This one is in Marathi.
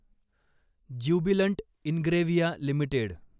ज्युबिलंट इंग्रेव्हिया लिमिटेड